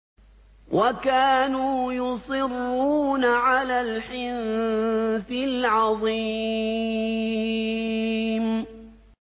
وَكَانُوا يُصِرُّونَ عَلَى الْحِنثِ الْعَظِيمِ